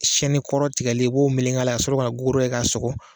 kɔrɔ tigɛlen i b'o meleg'a la k'a sɔrɔ ka gogoro kɛ ka sɔgɔ